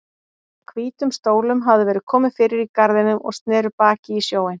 Hvítum stólum hafði verið komið fyrir í garðinum og sneru baki í sjóinn.